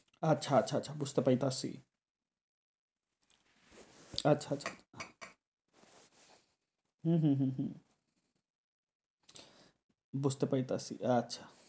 আচ্ছা আচ্ছা আচ্ছা বুঝতে পারতাসি আচ্ছা আচ্ছা হুম হুম হুম হুম বুঝতে পারতাসি আচ্ছা